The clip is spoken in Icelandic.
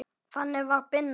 Þannig var Binna.